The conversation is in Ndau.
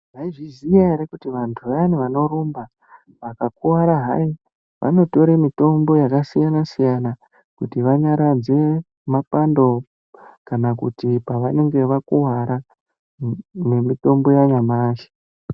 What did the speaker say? Maizviziva here kuti vantu vaya vanorumba vakakuvara vanotore mitombo yakasiyana siyanakuti vanyaradze mabando, kana kuti pavanenge vakuvara nemitombo yanyamashi